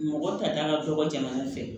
Mɔgɔ tata ka dɔgɔ jamana fɛ